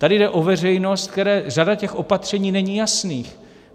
Tady jde o veřejnost, které řada těch opatření není jasných.